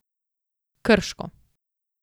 Krško.